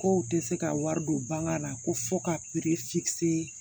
Kow tɛ se ka wari don banga la ko fɔ ka